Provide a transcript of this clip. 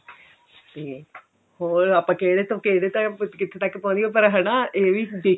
ਤੇ ਹੋਰ ਆਪਾਂ ਕਿਹੜੇ ਤੋਂ ਕਿਹੜੇ ਤੱਕ ਕਿੱਥੇ ਤੱਕ ਪਹੁੰਚ ਗਏ ਪਰ ਹਨਾ ਇਹ ਵੀ